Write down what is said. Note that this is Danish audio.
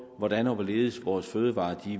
hvordan og hvorledes vores fødevarer